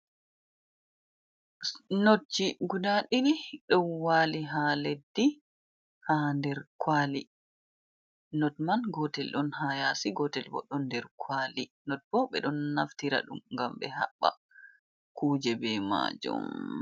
Notji guda ɗidi don wali ha leddi ha nder kwali. Not man gotel don ha yasi gotel bo don der kwali, not bo be don naftira dum gam be habba kuje be majum.